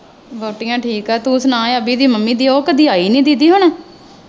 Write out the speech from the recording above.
ਵਹੁਟੀਆਂ ਠੀਕ ਹੈ ਤੂੰ ਸੁਣਾ ਅਭੀ ਦੀ ਮੰਮੀ ਉਹ ਕਦੀ ਆਈ ਨੀ ਦੀਦੀ ਹੁਣ।